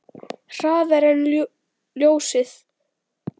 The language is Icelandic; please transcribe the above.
Hraðar en ljósið.